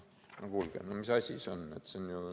No kuulge, mis asi see on!